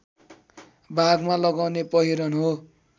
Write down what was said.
भागमा लगाउने पहिरन हो